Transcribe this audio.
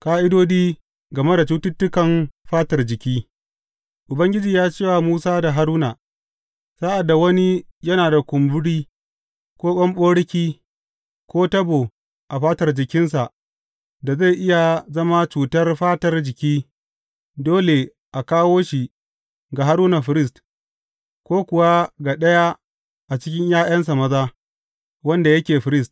Ƙa’idodi game cututtukan fatar jiki Ubangiji ya ce wa Musa da Haruna, Sa’ad da wani yana da kumburi, ko ɓamɓaroki, ko tabo a fatar jikinsa da zai iya zama cutar fatar jiki, dole a kawo shi ga Haruna firist, ko kuwa ga ɗaya a cikin ’ya’yansa maza wanda yake firist.